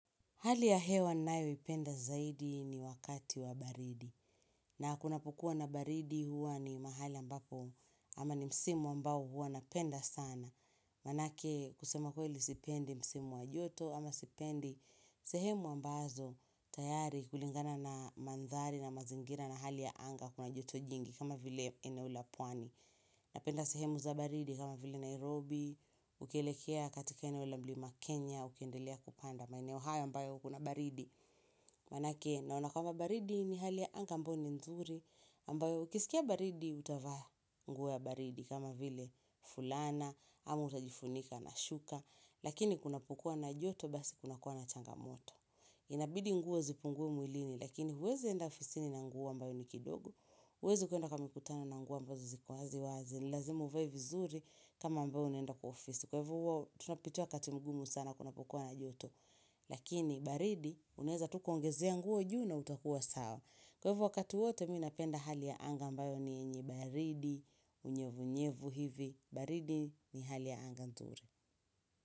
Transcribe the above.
Hali ya hewa ninayo ipenda zaidi ni wakati wa baridi. Na kuna pokuwa na baridi huwa ni mahali ambapo ama ni msimu ambao huwa na penda sana. Manake kusema kweli sipendi msimu wa joto ama sipendi sehemu ambazo tayari kulingana na mandhari na mazingira na hali ya anga kuna joto jingi kama vile eneo la pwani. Na penda sehemu za baridi kama vile Nairobi, ukielekea katika eneo la mlima Kenya, ukiendelea kupanda. Maeneo haya ambayo kuna baridi manake naona kwamba baridi ni hali ya anga ambayo ni nzuri ambayo ukisikia baridi utavaa nguo ya baridi kama vile fulana ama utajifunika na shuka lakini kuna pokuwa na joto basi kuna kuwa na changamoto inabidi nguo zipungue mwilini lakini huwezi enda ofisini na nguo ambayo ni kidogo huwezi kwenda kwa mikutano na nguo ambazo ziko wazi wazi ni lazima uvae vizuri kama ambao unaenda kwa ofisi kwa ivo huwa tunapitia wakati mgumu sana kuna pokuwa na joto Lakini, baridi, unaweza tu kuongezea nguo juu na utakuwa sawa. Kwa hivo wakati wote, mimi napenda hali ya anga mbayo ni yenye baridi, unyevu nyevu hivi. Baridi ni hali ya anga nzuri.